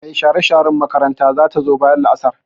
Mai share-sharen makaranta za ta zo bayan la'asar.